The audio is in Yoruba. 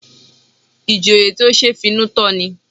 Ìjòyè tí ó ṣe é finú tán ni